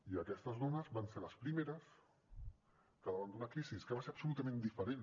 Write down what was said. i aquestes dones van ser les primeres que davant d’una crisi que va ser absolutament diferent